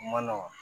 Ma nɔgɔ